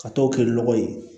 Ka t'o kɛ nɔgɔ ye